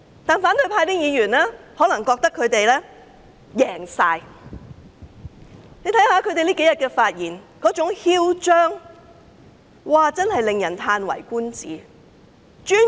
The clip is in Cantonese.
可是，反對派議員可能認為他們完全勝利，他們這數天發言時十分囂張，真是嘆為觀止。